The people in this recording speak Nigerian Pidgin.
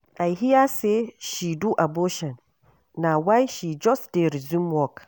I hear say she do abortion na why she just dey resume work.